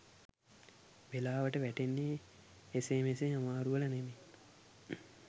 වෙලාවට වැටෙන්නේ එසේ මෙසේ අමාරු වල නෙමෙයි